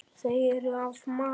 Þau eru af mat.